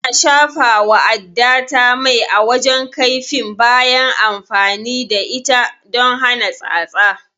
Eh, Ina shafawa addata mai a wajen kaifin bayan amfani da ita don hana tsatsa